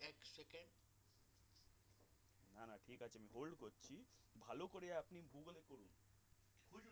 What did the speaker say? না না ঠিক আছে hold করছি ভালো করে আপনি গুগলে